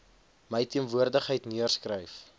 my teenwoordigheid neergeskryf